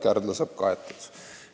Kärdla saab kaetud.